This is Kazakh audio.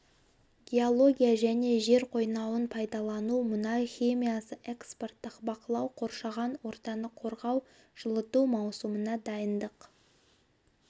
геология және жер қойнауын пайдалану мұнай химиясы экспорттық бақылау қоршаған ортаны қорғау жылыту маусымына дайындық